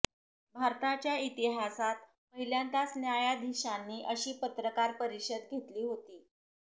भारताच्या इतिहासात पहिल्यांदाच न्यायाधीशांनी अशी पत्रकार परिषद घेतली होती